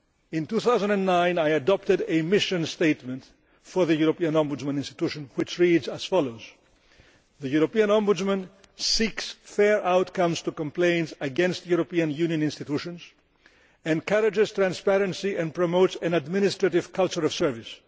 In 2009 I adopted a mission statement for the European Ombudsman institution which reads as follows the European Ombudsman seeks fair outcomes to complaints against European Union institutions, encourages transparency and promotes an administrative culture of service.